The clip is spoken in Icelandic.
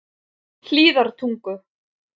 Hlíðartungu